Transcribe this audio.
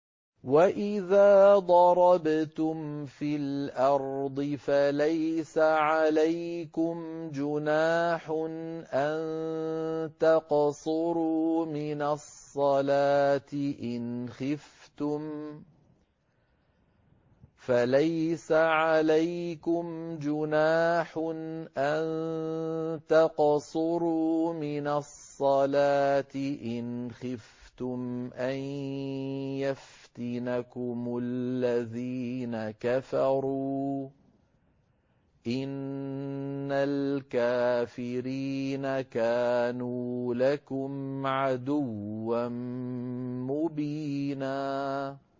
وَإِذَا ضَرَبْتُمْ فِي الْأَرْضِ فَلَيْسَ عَلَيْكُمْ جُنَاحٌ أَن تَقْصُرُوا مِنَ الصَّلَاةِ إِنْ خِفْتُمْ أَن يَفْتِنَكُمُ الَّذِينَ كَفَرُوا ۚ إِنَّ الْكَافِرِينَ كَانُوا لَكُمْ عَدُوًّا مُّبِينًا